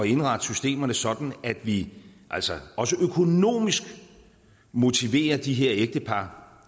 indrette systemerne sådan at vi altså også økonomisk motiverer de her ægtepar